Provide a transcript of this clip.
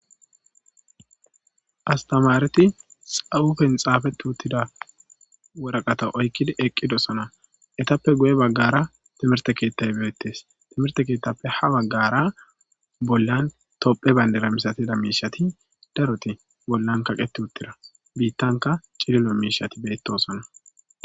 Astamareti xawufen xaafetu uttida wuraqata oykkidi eqqidosona etappe guye baggara timirte keettat beettes timirte keettappe ha baggara bollan tophe bayndera misatida miishati daroti bollan kaqeti uttira biittanka cililo miishati bettosona.